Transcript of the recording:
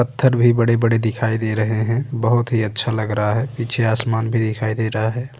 पत्थर भी बड़े-बड़े दिखाई दे रहे है। बोहोत ही अच्छा लग रहा है। पीछे आसमान भी दिखाई दे रहा है।